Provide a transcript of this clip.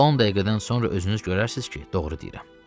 10 dəqiqədən sonra özünüz görərsiniz ki, doğru deyirəm.